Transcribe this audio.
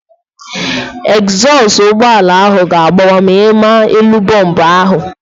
Egzọsụ ụgbọala ahụ ga-agbawa ma ịma elu bọmbu ahụ